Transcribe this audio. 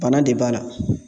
Bana de b'a la